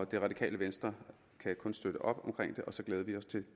det radikale venstre kan kun støtte op omkring det og så glæder vi os til